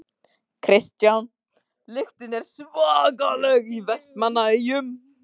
Kristján: Lyktin er svakaleg í Vestmannaeyjum?